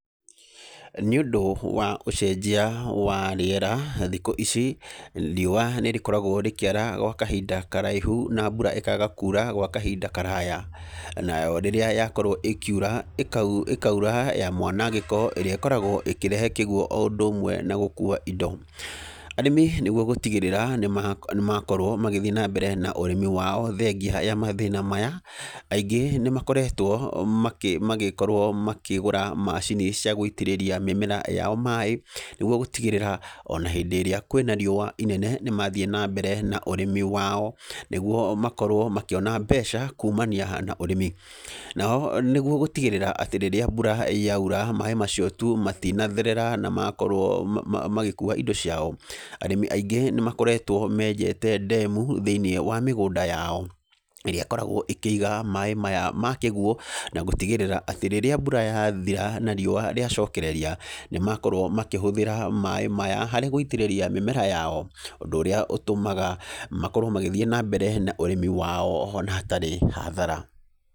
Nĩ ũndũ wa ũcenjia wa rĩera, thikũ ici riũa nĩ rĩkoragwo rĩkĩara gwa kahinda karaihu na mbura ĩkaga kuura gwa kahinda karaya. Nayo rĩrĩa yakorwo ĩkiura ĩkaura ya mwanangĩko, ĩrĩa ĩkoragwo ĩkĩrehe kiguũ o ũndũ ũmwe na gũkuua indo. Arĩmi nĩguo gũtigĩrĩra nĩ makorwo magĩthiĩ na mbere na ũrĩmi wao, thengia ya mathĩna maya, aingĩ nĩ makoretwo magĩkorwo makĩgũra macini cia gũitĩrĩria mĩmera yao maaĩ nĩguo gũtigĩrĩra ona hĩndĩ ĩrĩa kwĩna riũa inene nĩmathiĩ na mbere na ũrĩmi wao, nĩguo makorwo makĩona mbeca kuumania na ũrĩmi. Nao nĩguo gũtigĩrĩra atĩ rĩrĩa mbura yaura, maaĩ macio tu matinatherera na makorwo, magĩkuua indo ciao, arĩmi aingĩ nĩ makoretwo menjete ndemu thĩiniĩ wa mĩgũnda, yao ĩrĩa ĩkoragwo ĩkĩiga maaĩ maya ma kĩguũ, na gũtigĩrĩra atĩ rĩrĩa mbura yathĩra na riũa rĩacokereria nĩ makorwo makĩhuthĩra maaĩ maya harĩ gũitĩrĩria mera yao. Ũndũ ũrĩa ũtũmaga makorwo magĩthiĩ na mbere na ũrĩmi wao ona hatarĩ hadhara.